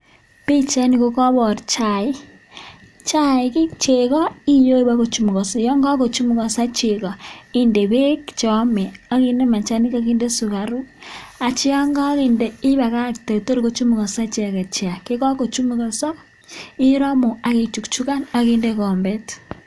Pichaini ko kobor chaik, Chaik ii, chego iyoe bogo chumugoso, yon kagochumukoso chego inde beek che ome ok inde machanik ak inde sugaruk. Ak kityo yon koinde ibakagte tor kochumukoso icheget chaik. Ye kagochumukoso iromu ak ichukchukan ak inde gombet.